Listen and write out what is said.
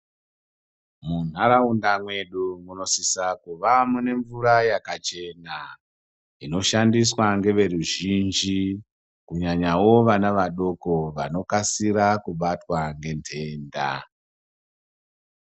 Munharaunda mwedu munosisa kuva mune mvura yakachena. Inoshandiswa ngeveruzhinji, kunyanyavo vana vadoko vanokasira kubatwa ngendenda.